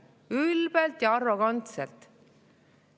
Ülbelt ja arrogantselt!